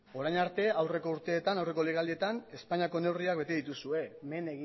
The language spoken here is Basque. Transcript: orain arte aurreko urteetan aurreko legealdietan espainiako neurriak bete dituzue men